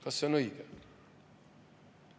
Kas see on õige?